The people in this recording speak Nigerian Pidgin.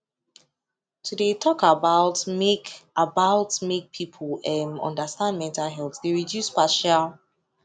to de talk about make about make people um understand mental health de reduce partial